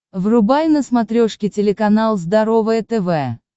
врубай на смотрешке телеканал здоровое тв